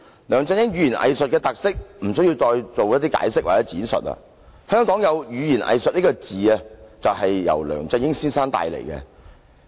梁振英語言"偽術"的特色，無須我們多作解釋或闡述，香港有語言"偽術"一詞，其實也是梁振英帶出來的。